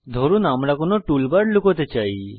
ধরুন আমরা কোনো টুলবার লুকোতে চাই